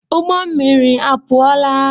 ụgbọ mmiri apụọla?